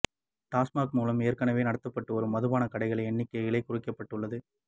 டாஸ்மாக் மூலம் ஏற்கனவே நடத்தப்பட்டு வரும் மதுபான கடைகள் எண்ணிக்கை குறைக்கப்பட்டுள்ளது